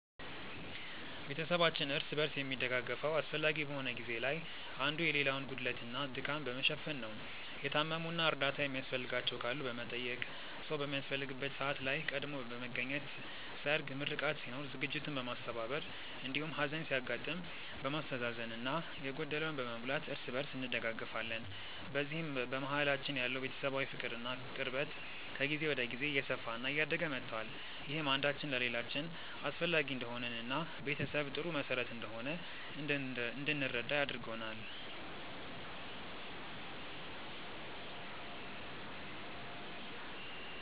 ቤተሰባችን እርስ በርስ የሚደጋገፈው አስፈላጊ በሆነ ጊዜ ላይ አንዱ የሌላውን ጉድለት እና ድካም በመሸፈን ነው። የታመሙ እና እርዳታ የሚያስፈልጋቸው ካሉ በመጠየቅ፣ ሰዉ በሚያስፈልግበት ሰዓት ላይ ቀድሞ በመገኘት ሰርግ፣ ምርቃት ሲኖር ዝግጅቱን በማስተባበር እንዲሁም ሀዘን ሲያጋጥም በማስተዛዘን እና የጎደለውን በመሙላት እርስ በእርስ እንደጋገፋለን። በዚህም በመሀላችን ያለው ቤተሰባዊ ፍቅር እና ቅርበት ከጊዜ ወደ ጊዜ እየሰፋ እና እያደገ መቷል። ይህም አንዳችን ለሌላችን አስፈላጊ እንደሆንን እና ቤተሰብ ጥሩ መሰረት እንደሆነ እንድንረዳ አድርጎናል።